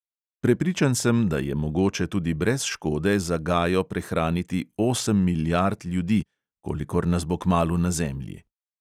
Prepričan sem, da je mogoče tudi brez škode za gajo prehraniti osem milijard ljudi, kolikor nas bo kmalu na zemlji.